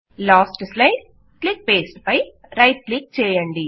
last slide జీటీజీటీ click paste జీటీజీటీ పై రైట్ క్లిక్ చేయండి